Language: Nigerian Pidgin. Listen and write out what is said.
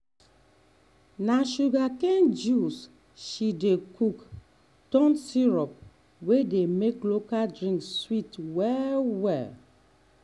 na sugarcane juice she dey cook turn syrup wey dey make local drink sweet well-well.